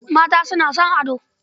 Mata suna son ado.